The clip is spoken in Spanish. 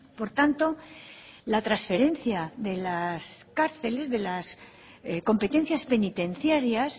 por tanto la transferencia de las cárceles de las competencias penitenciarias